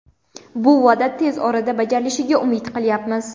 Bu va’da tez orada bajarilishiga umid qilyapmiz.